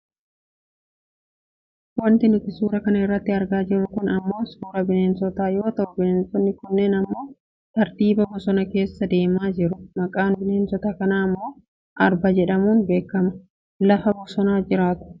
Wanti nuti suura kana irratti argaa jirru kun ammoo suuraa bineensota yoo ta'u bineensonni kunniin ammoo tartiibaa bosona keessa deemaa jiru maqaan bineensota kanaa ammoo Arba jedhamuun beekkamu. Lafa bosonaa jiraatu.